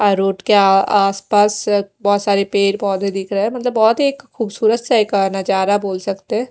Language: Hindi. अ रोड के आ आसपास बहोत सारे पेड़ पौधे दिख रहे हैं मतलब बहोत ही एक खूबसूरत सा एक नजरा बोल सकते हैं।